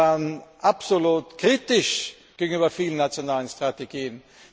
Sie waren absolut kritisch gegenüber vielen nationalen Strategien.